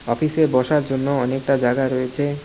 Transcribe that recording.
অফিসে বসার জন্য অনেকটা জাগা রয়েছে।